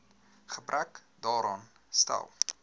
gebrek daaraan stel